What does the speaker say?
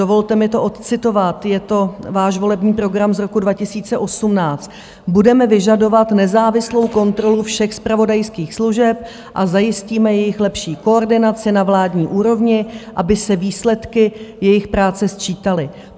Dovolte mi to odcitovat, je to váš volební program z roku 2018: "Budeme vyžadovat nezávislou kontrolu všech zpravodajských služeb a zajistíme jejich lepší koordinaci na vládní úrovni, aby se výsledky jejich práce sčítaly.